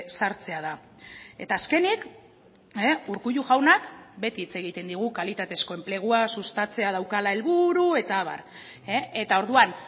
sartzea da eta azkenik urkullu jaunak beti hitz egiten digu kalitatezko enplegua sustatzea daukala helburu eta abar eta orduan